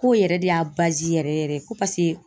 Ko o yɛrɛ de y'a yɛrɛ yɛrɛ ko